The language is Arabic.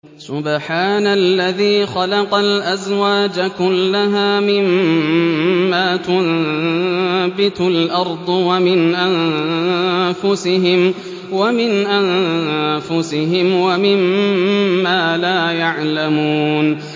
سُبْحَانَ الَّذِي خَلَقَ الْأَزْوَاجَ كُلَّهَا مِمَّا تُنبِتُ الْأَرْضُ وَمِنْ أَنفُسِهِمْ وَمِمَّا لَا يَعْلَمُونَ